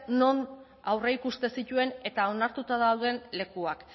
non aurreikusten zituen eta onartuta dauden lekuak